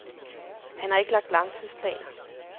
Han har ikke lagt langtidsplaner.